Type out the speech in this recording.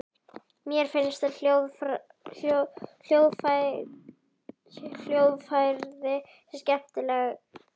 Mér finnst hljóðfræði skemmtileg.